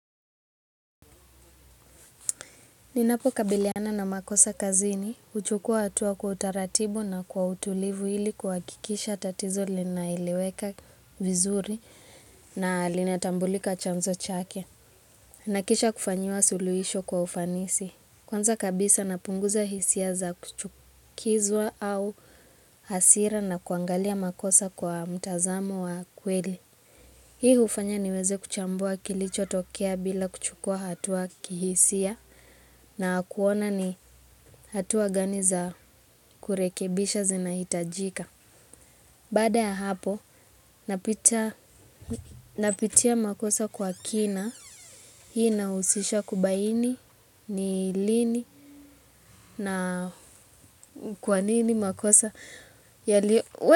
Ninapo kabiliana na makosa kazini, huchukua hatua kwa utaratibu na kwa utulivu ili kahakikisha tatizo linaeleweka vizuri na linatambulika chanzo chake. Nakisha kufanyiwa suluhisho kwa ufanisi. Kwanza kabisa napunguza hisia za kuchukizwa au hasira na kwangalia makosa kwa mtazamo wa kweli. Hii hufanya niweze kuchambua kilicho tokea bila kuchukua hatua kihisia na kuona ni hatua gani za kurekebisha zinahitajika. Baada ya hapo napitia makosa kwa kina hii inahusisha kubaini ni lini na kwanini makosa.